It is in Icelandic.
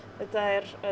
þetta er